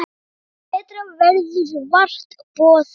Betra verður vart boðið.